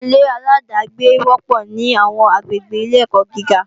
Àwọn ilé-aláàdágbé wọ́pọ̀ ní àwọn àgbègbè ilé-ẹ̀kọ́ gíga